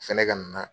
Fɛnɛ ka na